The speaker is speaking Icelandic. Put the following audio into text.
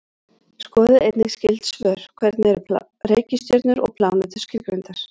Skoðið einnig skyld svör: Hvernig eru reikistjörnur og plánetur skilgreindar?